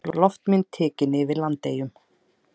Loftmynd tekin yfir Landeyjum.